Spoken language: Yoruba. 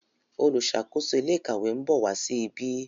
oluṣakoso ilé ìkàwé nbọ wá sí ìbi.